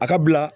A ka bila